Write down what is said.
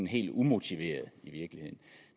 helt umotiveret